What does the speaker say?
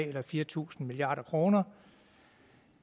eller fire tusind milliard kroner